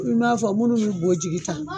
I n'a fɔ minnu bɛ bɔ jigi ta